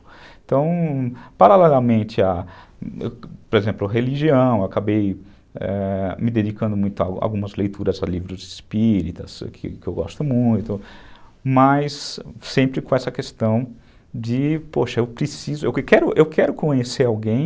Então, paralelamente a, por exemplo, religião, acabei ãh me dedicando muito a algumas leituras a livros espíritas, que eu gosto muito, mas sempre com essa questão de, poxa, eu preciso, eu quero eu quero conhecer alguém